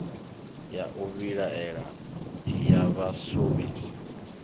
ya u vhilaela ya vhashumisi